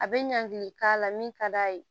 A bɛ ɲangi k'a la min ka d'a ye